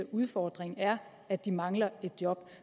udfordring er at de mangler job